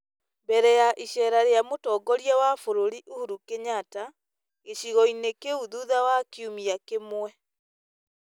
mbere ya iceera rĩa Mũtongoria wa bũrũri Uhuru Kenyatta, gĩcigo-inĩ kĩu thutha wa kiumia kĩmwe.